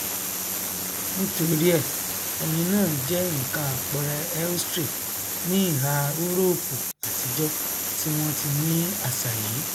nítorí ẹ ẹyin náà jẹ nkan àpẹrẹ ēostre ní ìhà úróòpù àtijọ tí wọn ti ní àṣà yìí